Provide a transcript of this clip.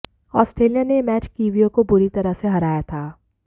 Australia ने यह match कीवियों को बुरी तरह से हराया था